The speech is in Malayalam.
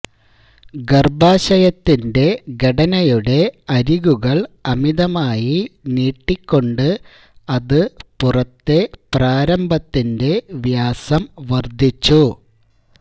ഗർഭാശയത്തിൻറെ ഘടനയുടെ അരികുകൾ അമിതമായി നീട്ടിക്കൊണ്ട് അത് പുറത്തെ പ്രാരംഭത്തിന്റെ വ്യാസം വർദ്ധിച്ചു